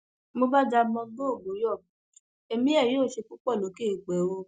mo bá jàgbón borgu yọ̀ ẹmí ẹ yóò ṣe púpọ lókè eèpẹ o